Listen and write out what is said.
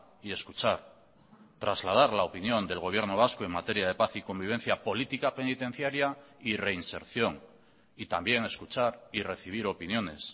y escuchar trasladar la opinión del gobierno vasco en materia de paz y convivencia política penitenciaria y reinserción y también escuchar y recibir opiniones